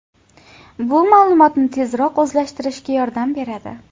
Bu ma’lumotni tezroq o‘zlashtirishga yordam beradi.